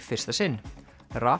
fyrsta sinn